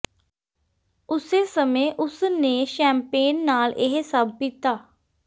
ਉਸੇ ਸਮੇਂ ਉਸ ਨੇ ਸ਼ੈਂਪੇਨ ਨਾਲ ਇਹ ਸਭ ਪੀਤਾ